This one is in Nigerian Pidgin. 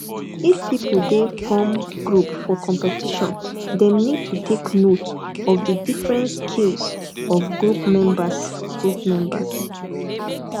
if pipo dey form group for competition dem need to take note of di different skills of group members group members